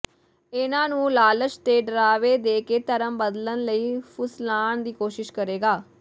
ਇਨ੍ਹਾਂ ਨੂੰ ਲਾਲਚ ਤੇ ਡਰਾਵੇ ਦੇ ਕੇ ਧਰਮ ਬਦਲਣ ਲਈ ਫੁਸਲਾਣ ਦੀ ਕੌਸ਼ਿਸ਼ ਕਰੇਗਾ